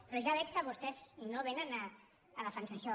però ja veig que vostès no vénen a defensar això